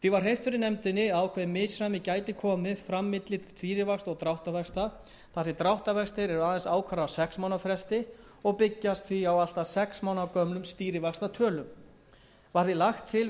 var hreyft fyrir nefndinni að ákveðið misræmi gæti komið fram milli stýrivaxta og dráttarvaxta þar sem dráttarvextir eru aðeins ákvarðaðir á sex mánaða fresti og byggjast því á allt að sex mánaða gömlum stýrivaxtatölum var því lagt til við